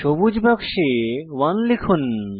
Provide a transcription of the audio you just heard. সবুজ বাক্সে 1 লিখুন